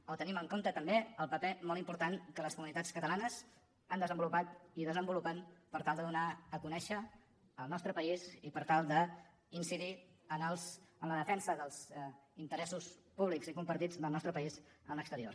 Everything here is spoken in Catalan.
o tenim en compte també el paper molt important que les comunitats catalanes han desenvolupat i desenvolupen per tal de donar a conèixer el nostre país i per tal d’incidir en la defensa dels interessos públics i compartits del nostre país a l’exterior